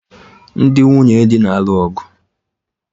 Ndị nwunye dị na-alụ ọgụ